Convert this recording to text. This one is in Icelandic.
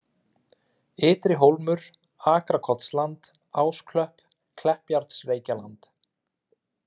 Ytri Hólmur, Akrakotsland, Ásklöpp, Kleppjárnsreykjaland